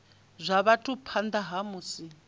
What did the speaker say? zwa vhathu phanḓa ha musi